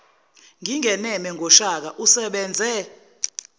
ngingeneme ngoshaka usebenze